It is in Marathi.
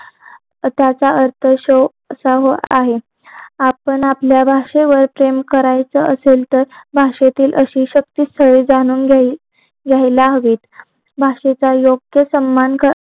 त्याचा अर्थ असा आहे आपण आपल्या भाषेवर प्रेम करायचा असेल तर भाषेतील सही अतिशुयोक्ती जाणून घ्यायला हवी असं काही भाषेचा योग्य सम्मान